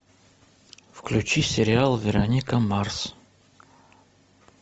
включи сериал вероника марс